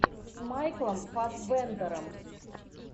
с майклом фассбендером